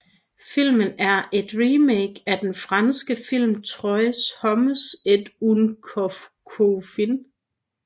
Filmen er et remake af den franske film Trois hommes et un couffin